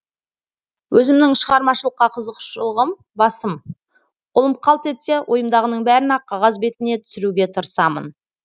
өзімнің шығармашылыққа қызығушылығым басым қолым қалт етсе ойымдағының бәрін ақ қағаз бетіне түсіруге тырысамын